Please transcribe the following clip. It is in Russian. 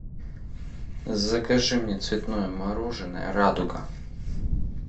закажи мне цветное мороженое радуга